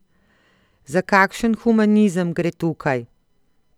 Za kakšen humanizem gre tukaj?